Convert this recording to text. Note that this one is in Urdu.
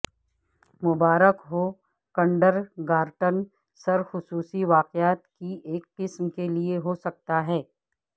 مبارک ہو کنڈرگارٹن سر خصوصی واقعات کی ایک قسم کے لئے ہو سکتا ہے